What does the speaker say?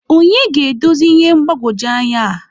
onye ga-edozi ihe mgbagwoju anya a?.